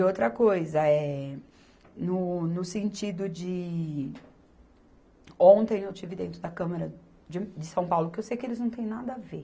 E outra coisa, eh, no, no sentido de Ontem eu estive dentro da Câmara de de São Paulo, que eu sei que eles não têm nada a ver.